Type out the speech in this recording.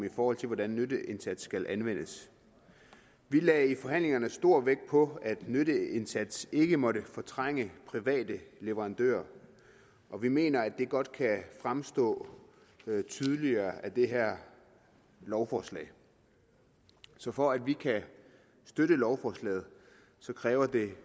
i forhold til hvordan nytteindsats skal anvendes vi lagde i forhandlingerne stor vægt på at nytteindsats ikke måtte fortrænge private leverandører og vi mener at det godt kan fremstå tydeligere af det her lovforslag så for at vi kan støtte lovforslaget kræver det